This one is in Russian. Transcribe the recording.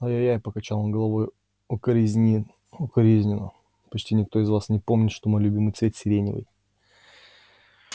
ай-яй-яй покачал он головой укоризненно почти никто из вас не помнит что мой любимый цвет сиреневый